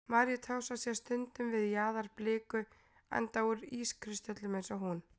Maríutása sést stundum við jaðar bliku, enda úr ískristöllum eins og hún.